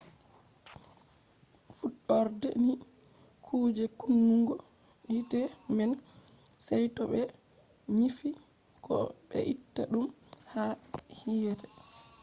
fuɗɗorde ni kuje kunnugo hite man sey to ɓe nyifi ko be itta ɗum ha hite